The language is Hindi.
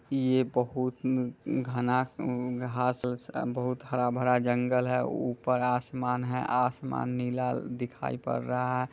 ये बहुत मम घना घास व बहुत हरा-भरा जंगल है ऊपर आसमान है आसमान नीला दिखाई पड़ रहा है।